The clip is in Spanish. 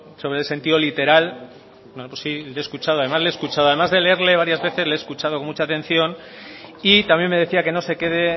sobre el sentido literal bueno pues sí le he escuchado además le he escuchado además de leerle varias veces le he escuchado con mucha atención y también me decía que no se quede